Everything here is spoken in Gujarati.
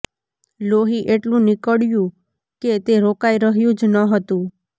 લોહી એટલું નીકળ્યું કે તે રોકાઇ રહ્યું જ ન હતું